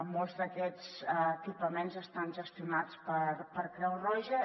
molts d’aquests equipaments estan gestionats per creu roja